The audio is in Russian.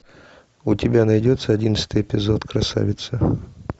у тебя найдется одиннадцатый эпизод красавица